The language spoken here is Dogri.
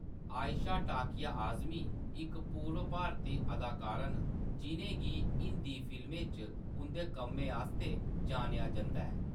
आयशा टाकिया आज़मी इक पूर्व भारती अदाकारा न जिʼनें गी हिंदी फिल्में च उंʼदे कम्मै आस्तै जानेआ जंदा ऐ।